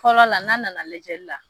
Fɔlɔ la n'a nana lajɛli la